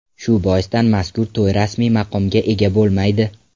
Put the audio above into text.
Shu boisdan mazkur to‘y rasmiy maqomga ega bo‘lmaydi.